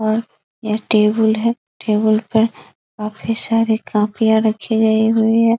और यह टेबल है टेबल पे काफी सारे कॉपियां रखी गई हुई है |